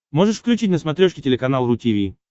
можешь включить на смотрешке телеканал ру ти ви